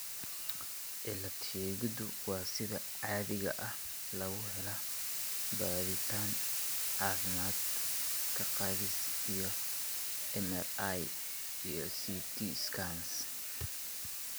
Cilad-sheegiddu waxa sida caadiga ah lagu helaa baadhitaan caafimaad, ka-qaadis, iyo MRI iyo CT scans.